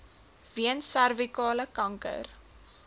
weens servikale kanker